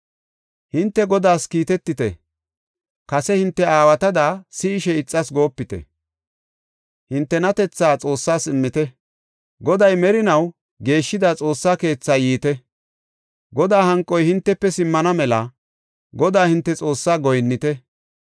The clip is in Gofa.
Hinte Godaas kiitetite; kase hinte aawatada si7ishe ixas goopite! Hintenatethaa Xoossas immite. Goday merinaw geeshshida Xoossa keethaa yiite. Godaa hanqoy hintefe simmana mela Godaa hinte Xoossaa goyinnite.